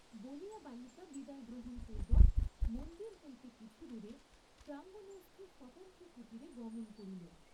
বলিয়া বালিকা বিদায় গ্রহণ পূর্ব্বক মন্দির হইতে কিছুদূরে প্রাঙ্গণস্থ স্বতন্ত্র কুটীরে গমন করিল।